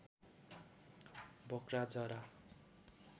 बोक्रा जरा